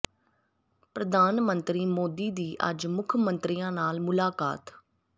ਪ੍ਰਧਾਨ ਮੰਤਰੀ ਮੋਦੀ ਦੀ ਅੱਜ ਮੁੱਖ ਮੰਤਰੀਆਂ ਨਾਲ ਮੁਲਾਕਾਤ